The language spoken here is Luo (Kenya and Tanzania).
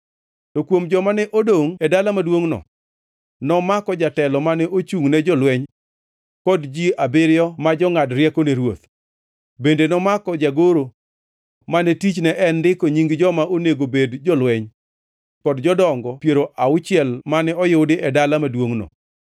To kuom joma ne odongʼ e dala maduongʼno, nomako jatelo mane ochungʼ ne jolweny, kod ji abiriyo ma jongʼad rieko ne ruoth. Bende nomako jagoro mane tichne en ndiko nying joma onego bed jolweny kod jodonge piero auchiel mane oyudi e dala maduongʼno.